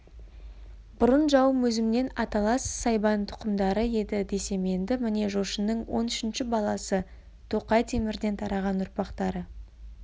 бұрын жауым өзіммен аталас сайбан тұқымдары еді десем енді міне жошының он үшінші баласы тоқай темірден тараған ұрпақтары